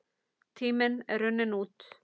Tíminn er runninn út.